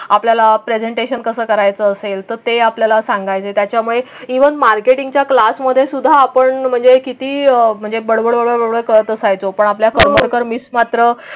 आपल्याला प्रेझेंटेशन कस करायच असेल तर ते आपल्याला सांगायचे. त्यामुळे जीवन मार्केटिंगच्या क्लासमध्ये सुद्धा आपण म्हणजे किती म्हणजे बळ असायचो. पण आपल्या करमरकर मिस मात्र.